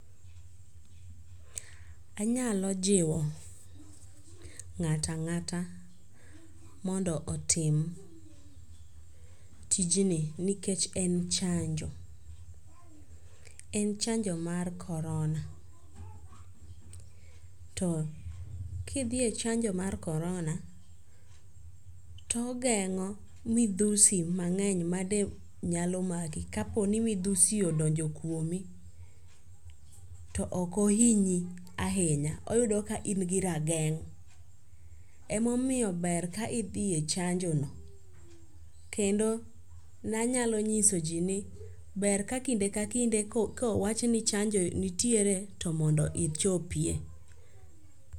Anyalo jiwo ng'ato ang'ata mondo otim tijni nikech en chanjo. En chanjo mar corona. To kidhi e chanjo mar corona to ogeng'o midhusi mang'eny made nyalo maki kaponi midhusi odonjo kuomi to ok ohinyi ahinya. Oyudo ka in gi rageng'. Ema omiyo ber ka idhi e chanjo no. Kendo ne anyalo nyisoji ni ber ka kinde ka kinde ko kowach ni chanjo nitiere to mondo ichopie.